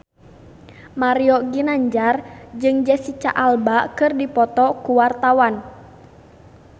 Mario Ginanjar jeung Jesicca Alba keur dipoto ku wartawan